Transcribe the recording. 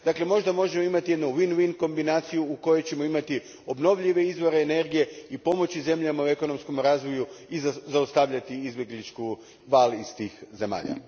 Dakle, možda možemo imati win win kombinaciju u kojoj ćemo imati obnovljive izvore energije i pomoći zemljama u ekonomskom razvoju i zaustaviti izbjeglički val iz tih zemalja.